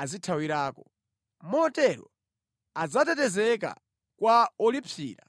azithawirako. Motero adzatetezedwa kwa wolipsira.